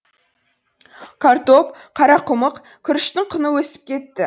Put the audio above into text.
картоп қарақұмық күріштің құны өсіп кетті